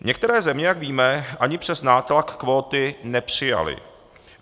Některé země, jak víme, ani přes nátlak kvóty nepřijaly.